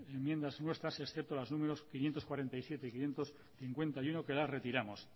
enmiendas nuestras excepto las números quinientos cuarenta y siete y quinientos cincuenta y uno que las retiramos